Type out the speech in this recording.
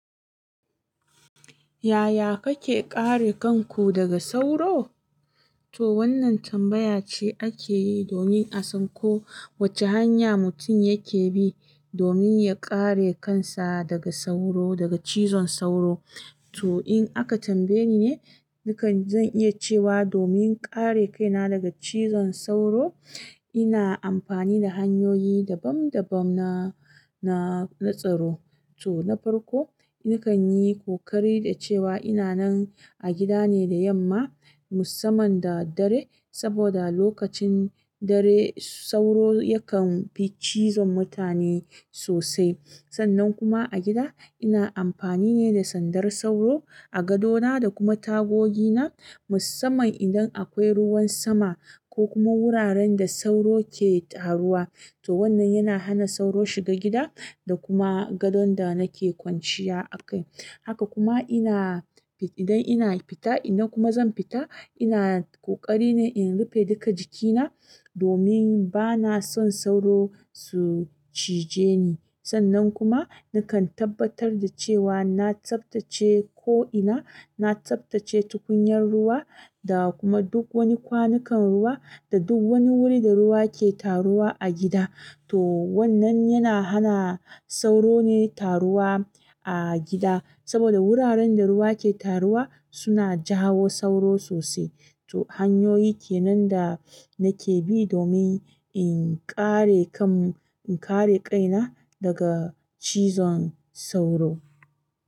Yaya kake kare kanku daga soro? To wannan tambaya ce ake yi domin a san ko wace hanya mutum yake bi domin ya kare kansa daga sauro, daga cizon sauro. Toh in aka tambaye ni ne, ni kan zan iya cewa domin kare kaina daga cizon sauro, ina amfani da hanyoyi dabam dabam na, na, na tsaro. Toh na farko, ni kan yi ƙoƙari da cewa ina nan a gida ne da yamma musamman da dare saboda lokacin dare sauro yakan bi cizon mutane sosai. Sannan kuma a gida ina amfani ne da sandar sauro a gadona da kuma tagogi na musamman idan akwai ruwan sama ko kuma wuraren da sauro ke taruwa. Toh wannan yana hana sauro shiga gida da kuma gadon da nake kwanciya a kai. Haka kuma ina, idan ina fita idan kuma zan fita ina ƙoƙari ne in rufe duka jikina domin bana son sauro su cije ni. Sannan kuma nakan tabbatar da cewa na tsaftace ko'ina, na tsaftace tukunyar ruwa da kuma duk wani kwanukan ruwa da duk wani wuri da ruwa ke taruwa a gida. To wannan yana hana sauro ne taruwa a gida saboda wuraren da ruwa ke taruwa suna jawo sauro sosai. To hanyoyi kenan da nake bi domin in kare kan, in kare kaina daga cizon sauro.